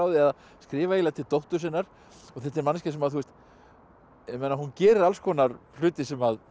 að skrifa eiginlega til dóttur sinnar og þetta er manneskja sem gerir alls konar hluti sem